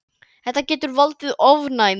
Það getur valdið ofnæmi.